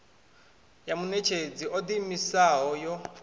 ya muṋetshedzi o ḓiimisaho yo